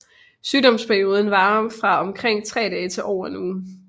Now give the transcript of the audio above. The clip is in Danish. Sygdomsperioden varer fra omkring tre dage til over en uge